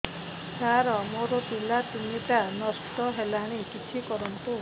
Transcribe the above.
ସାର ମୋର ପିଲା ତିନିଟା ନଷ୍ଟ ହେଲାଣି କିଛି କରନ୍ତୁ